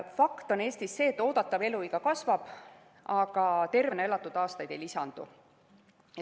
Fakt on see, et Eestis oodatav eluiga kasvab, aga tervena elatud aastaid ei lisandu.